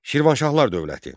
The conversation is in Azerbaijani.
Şirvanşahlar dövləti.